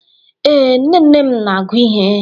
Ee, nne nne m na-agụ ihe.